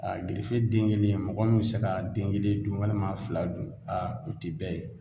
Aa gerefe den kelen mɔgɔ min be se ka den kelen dun walima a fila dun aa o ti bɛɛ ye